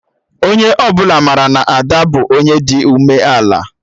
Onye ọbụla mara na Ada bụ Onye dị ume ala